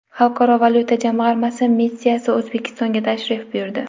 Xalqaro valyuta jamg‘armasi missiyasi O‘zbekistonga tashrif buyurdi.